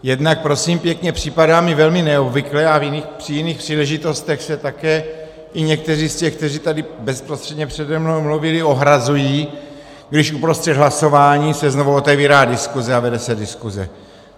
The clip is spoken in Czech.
Jednak prosím pěkně, připadá mi velmi neobvyklé a při jiných příležitostech se také i někteří z těch, kteří tady bezprostředně přede mnou mluvili, ohrazují, když uprostřed hlasování se znovu otevírá diskuse a vede se diskuse.